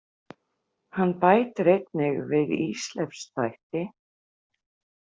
Hann bætir einnig við Ísleifs þætti.